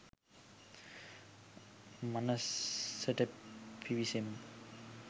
මනසට පිවිසෙමු